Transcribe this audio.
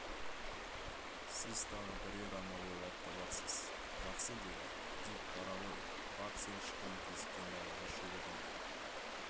сіз тағы бірер амал ойлап табарсыз жақсы деді дикбара ғой бат сен шыққан тесіктен далаға шығудың